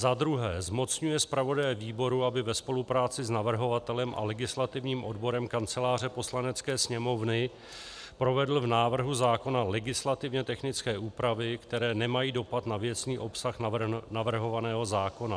Za druhé zmocňuje zpravodaje výboru, aby ve spolupráci s navrhovatelem a legislativním odborem Kanceláře Poslanecké sněmovny provedl v návrhu zákona legislativně technické úpravy, které nemají dopad na věcný obsah navrhovaného zákona.